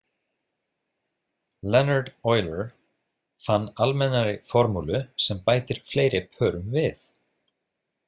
Leonhard Euler fann almennari formúlu sem bætir fleiri pörum við.